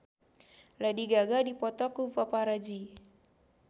Lady Gaga dipoto ku paparazi